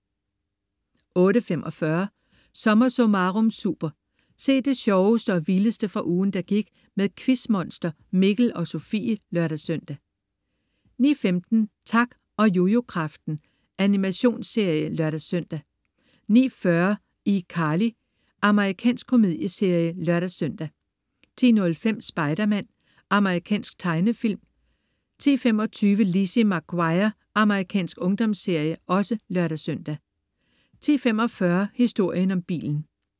08.45 SommerSummarum Super. Se det sjoveste og vildeste fra ugen, der gik med Quizmonster, Mikkel og Sofie (lør-søn) 09.15 Tak og Jujukraften. Animationsserie (lør-søn) 09.40 iCarly. Amerikansk komedieserie (lør-søn) 10.05 Spider-Man. Amerikansk tegnefilm (lør-søn) 10.25 Lizzie McGuire. Amerikansk ungdomsserie(lør-søn) 10.45 Historien om bilen